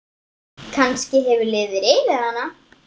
Kannski hefur liðið yfir hana?